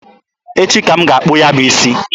Echi ka m ga-akpụ ya bụ isi.